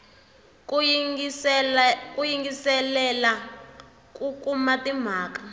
ku yingiselela ku kuma timhaka